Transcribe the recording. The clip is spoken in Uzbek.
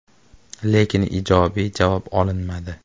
Lekin ijobiy javob olinmadi.